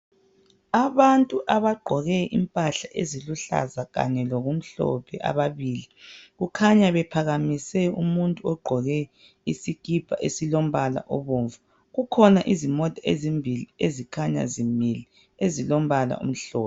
Abantu abagqoke impahla eziluhlaza kanye lokumhlophe ababili kukhanya bephakamise umuntu ogqoke isikipa esilombala obomvu. Kukhona izimota ezimbili ezikhanya zimile ezilombala omhlophe.